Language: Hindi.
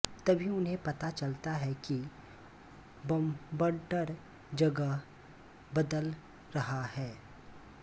तभी उन्हें पता चलता है कि बवंडर जगह बदल रहा है